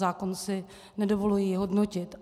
Zákon si nedovoluji hodnotit.